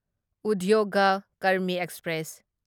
Udyog Karmi express